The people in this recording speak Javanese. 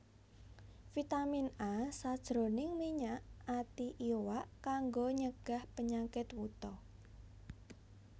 Vitamin A sajroning minyak ati iwak kanggo nyegah penyakit wuta